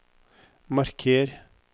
marker